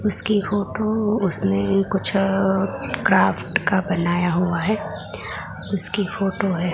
उसकी फोटो उसने कुछ क्राफ्ट का बनाया हुआ है उसकी फोटो है।